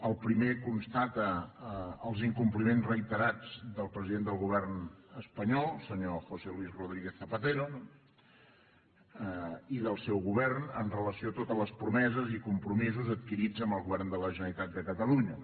el primer constata els incompliments reiterats del president del govern espanyol senyor josé luis rodríguez zapatero no i del seu govern amb relació a totes les promeses i compromisos adquirits amb el govern de la generalitat de catalunya